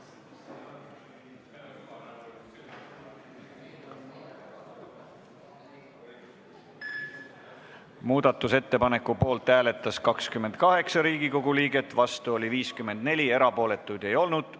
Hääletustulemused Muudatusettepaneku poolt hääletas 28 Riigikogu liiget, vastu oli 54, erapooletuid ei olnud.